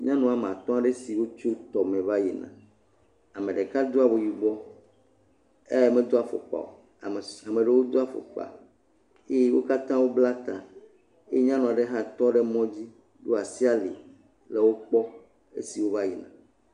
Nyɔnu woame atɔ̃ aɖewo tso tɔme va yina, ame ɖeka do awu yibɔ eye medo afɔkpa o ame si ame ɖewo do afɔkpa eye wo katã wo bla ta, eye nyɔnu aɖe hã ɖo asi ali hele wo kpɔm esi wova yina.